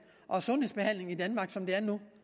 og sundhedsbehandlingen i danmark som der er nu